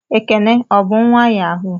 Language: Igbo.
Ekene o bu nwa Yahoo?